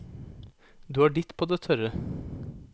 Du har ditt på det tørre.